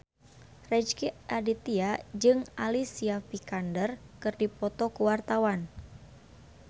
Rezky Aditya jeung Alicia Vikander keur dipoto ku wartawan